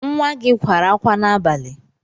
Nwa gị kwara akwa n'abalị?